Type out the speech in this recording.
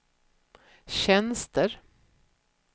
tjänster